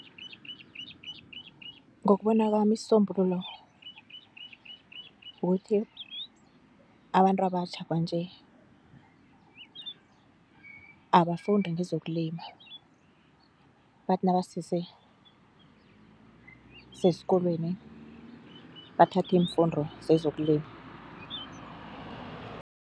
Ngokubona kwami isisombululo kukuthi abantu abatjha kwanje abafunde ngezokulima, bathi nabasese seskolweni bathathe iimfundo zezokulima.